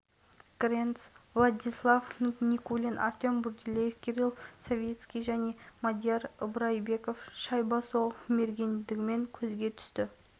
сергей старыгин жаттықтыратын қазақстан хоккейшілері бірінші кезеңді есебімен аяқтады жанкүйерлер қолдауынан қуат алған отандастарымыз аянып қалмады